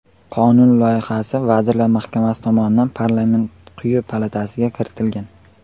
Qonun loyihasi Vazirlar Mahkamasi tomonidan parlament quyi palatasiga kiritilgan.